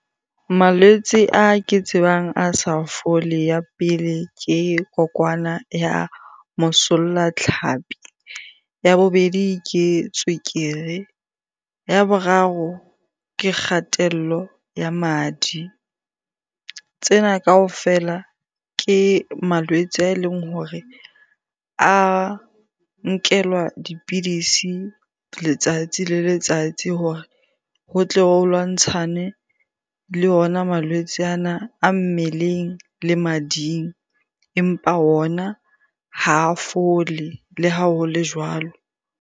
Malwetse a ke tsebang a sa fole. Ya pele, ke kokwana ya mosollatlhapi. Ya bobedi, ke tswekere. Ya boraro, ke kgatello ya madi. Tsena kaofela ke malwetse a eleng hore a nkelwa dipidisi letsatsi le letsatsi hore ho tle ho lwantshane le ona malwetse ana a mmeleng le mading. Empa ona ha fole le ha ho le jwalo.